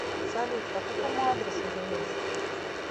салют по какому адресу живешь